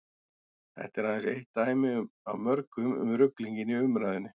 þetta er aðeins eitt dæmi af mörgum um ruglinginn í umræðunni